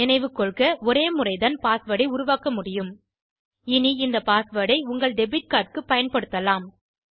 நினைவு கொள்க ஒரே முறைதான் பாஸ்வேர்ட் ஐ உருவாக்க முடியும் இனி இந்த பாஸ்வேர்ட் ஐ உங்கள் டெபிட் கார்ட் க்குப் பயன்படுத்தலாம்